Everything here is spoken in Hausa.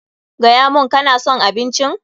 Gaya mun, ka na son abincin?